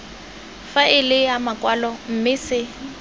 faele ya makwalo mme se